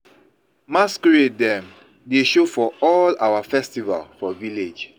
Masqurade dem dey show for all our festival for village.